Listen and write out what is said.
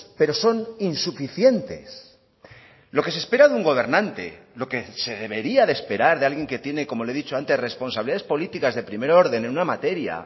pero son insuficientes lo que se espera de un gobernante lo que se debería de esperar de alguien que tiene como le he dicho antes responsabilidades políticas de primer orden en una materia